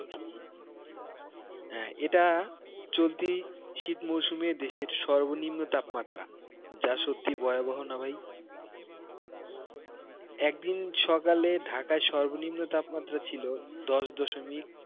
এটা চলতি শীত মৌসুমের দেশের সর্বনিম্ন তাপমাত্রা যা সত্যিই ভয়াবহ না ভাই, একদিন ঢাকায় সর্বনিম্ন তাপমাত্রা ছিল দশ দশমিক